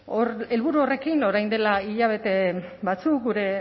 helburu horrekin orain dela hilabete batzuk gure